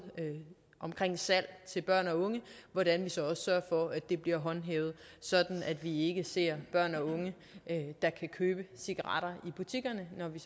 ved salg til børn og unge bliver håndhævet sådan at vi ikke ser børn og unge der kan købe cigaretter i butikkerne når vi